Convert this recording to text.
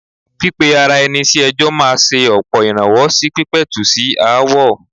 Pípe ara ẹni ní ẹjọ́ máa ṣe ọ̀pọ̀ ìrànwọ́ sí pípẹ̀tù sí aáwọ̀.